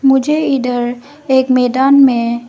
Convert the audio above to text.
मुझे इडर एक मैदान में--